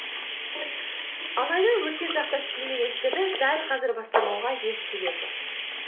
алайда өткен шақта істелмеген істерді дәл қазір бастамауға еш себеп жоқ